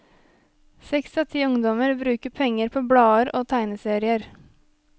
Seks av ti ungdommer bruker penger på blader og tegneserier.